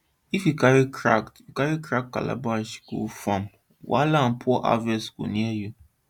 if you carry cracked you carry cracked calabash go farm wahala and poor harvest dey near